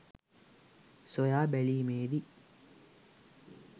සොයා බැලීමේදී